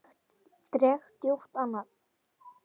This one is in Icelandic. Dreg djúpt andann.